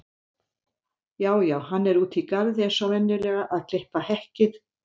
Já já, hann er úti í garði eins og venjulega að klippa hekkið.